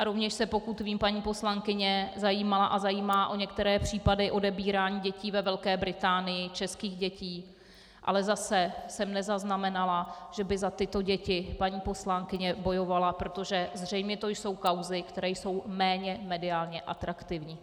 A rovněž se, pokud vím, paní poslankyně zajímala a zajímá o některé případy odebírání dětí ve Velké Británii, českých dětí, ale zase jsem nezaznamenala, že by za tyto děti paní poslankyně bojovala, protože zřejmě to jsou kauzy, které jsou méně mediálně atraktivní.